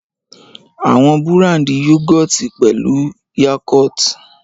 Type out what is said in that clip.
Àwọn búràndì Yúgọ̀ọ̀tì pẹ̀lú Yakult.